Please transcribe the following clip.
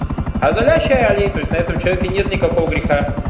означали это у человека нет никакого греха